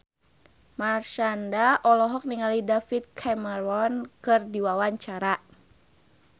Marshanda olohok ningali David Cameron keur diwawancara